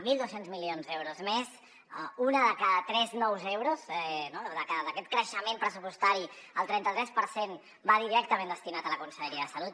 mil dos cents milions d’euros més un de cada tres nous euros d’aquest creixement pressupostari el trenta tres per cent va directament destinat a la conselleria de salut